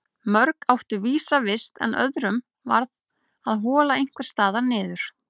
Mörg áttu vísa vist en öðrum varð að hola einhvers staðar niður.